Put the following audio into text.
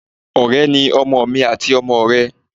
Ọ̀rẹ́ ni ọmọ mi àti ọmọ rẹ.